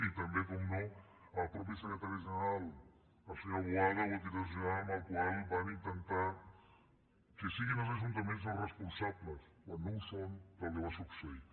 i també per descomptat el mateix secretari general el senyor boada o el director general amb el qual van intentar que siguin els ajuntaments els responsables quan no ho són del que va succeir